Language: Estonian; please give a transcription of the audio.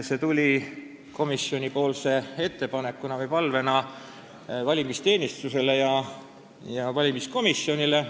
See tuli päevakorda komisjoni varasema ettepanekuna või palvena riigi valimisteenistusele ja valimiskomisjonile.